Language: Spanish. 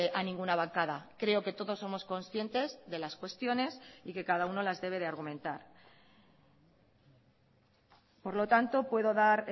a ninguna bancada creo que todos somos conscientes de las cuestiones y que cada uno las debe de argumentar por lo tanto puedo dar